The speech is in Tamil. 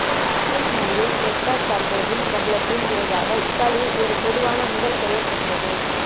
ஸ்வீடிஷ் நடிகை கிரெட்டா கார்போவின் பிரபலத்தின் விளைவாக இத்தாலியில் ஒரு பொதுவான முதல் பெயர் பெற்றது